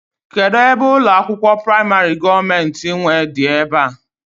Kedụ ebe ụlọakwụkwọ praịmarị gọọmenti nwe dị ebe a?